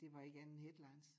Det var ikke andet end headlines